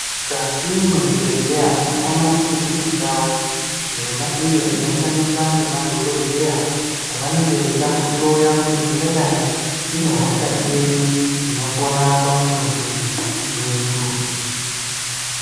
Mukati mwezvibhedhlera tinoona kuti mune ndau yona iyo inoshandiswa ngemadhogodheya pavanenge veida kuhloya kuti tingadai tine hosha iri inopona pamutumbi wedu.